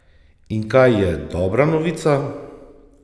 In kaj je dobra novica?